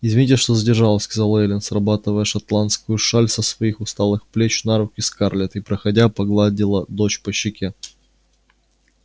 извините что задержалась сказала эллин срабатывая шотландскую шаль со своих усталых плеч на руки скарлетт и проходя погладила дочь по щеке